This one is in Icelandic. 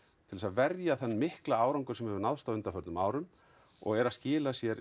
til þess að verja þann mikla árangur sem hefur náðst á undanförnum árum og er að skila sér